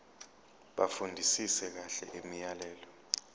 bafundisise kahle imiyalelo